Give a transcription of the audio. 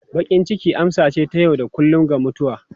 Bakin ciki amsa ce ta yau da kullun ga mutuwa.